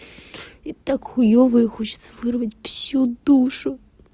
и так хуёво и хочется вырвать всю душу